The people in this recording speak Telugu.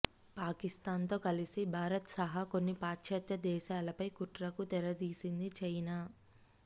పాకిస్థాన్ తో కలిసి భారత్ సహా కొన్ని పాశ్చాత్య దేశాలపై కుట్రకు తెరతీసింది చైనా